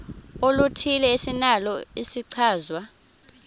oluthile esinalo isichazwa